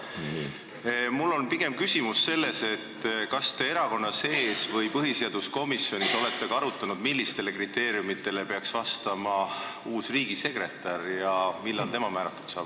Praegu tahan pigem küsida, kas te erakonna sees või põhiseaduskomisjonis olete ka arutanud, millistele kriteeriumidele peaks vastama uus riigisekretär ja millal tema ametisse määratakse.